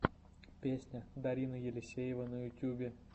песня дарина елисеева на ютубе